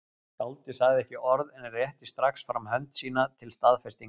Skáldið sagði ekki orð en rétti strax fram hönd sína til staðfestingar.